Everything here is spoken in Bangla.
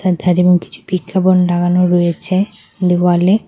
তার ধারে কিছু বিজ্ঞাপন লাগানো রয়েছে দেওয়ালে।